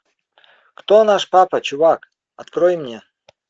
кто наш папа чувак открой мне